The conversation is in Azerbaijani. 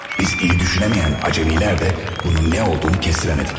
Biz pis düşünə bilməyən acəmilər də bunun nə olduğunu kəsirə bilmədik.